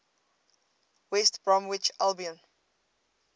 west bromwich albion